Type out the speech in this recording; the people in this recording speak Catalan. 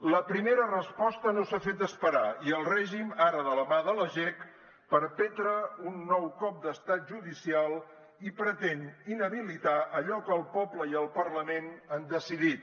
la primera resposta no s’ha fet esperar i el règim ara de la mà de la jec perpetra un nou cop d’estat judicial i pretén inhabilitar allò que el poble i el parlament han decidit